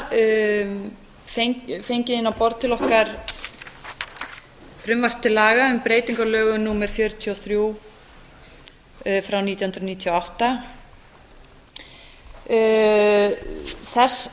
við þar fengið inn á borð til okkar frumvarp til laga um breyting á lögum númer fjörutíu og þrjú nítján hundruð níutíu og átta þess